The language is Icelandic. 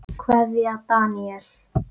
Kveðja, Daníel.